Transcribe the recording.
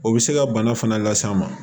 O bɛ se ka bana fana las'an ma